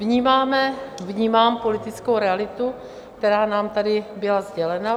Vnímáme, vnímám politickou realitu, která nám tady byla sdělena.